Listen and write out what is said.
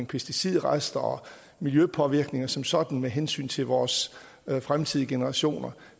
pesticidrester og miljøpåvirkninger som sådan med hensyn til vores fremtidige generationer